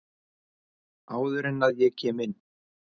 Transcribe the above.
Áður en að ég kem inn.